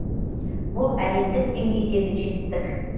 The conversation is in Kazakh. бұл әлемдік деңгейдегі жетістік